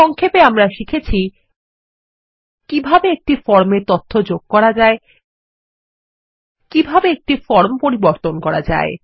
সংক্ষেপে আমরা শিখেছি কিভাবে একটি ফর্মে তথ্য যোগ করা যায় কিভাবে একটি ফরম পরিবর্তন করা যায়